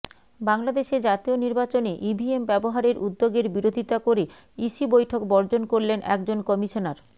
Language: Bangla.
বাংলাদেশে জাতীয় নির্বাচনে ইভিএম ব্যবহারের উদ্যোগের বিরোধিতা করে ইসি বৈঠক বর্জন করলেন একজন কমিশনার